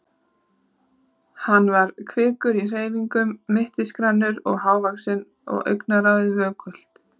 Hann var kvikur í hreyfingum, mittisgrannur og hávaxinn og augnaráðið vökult.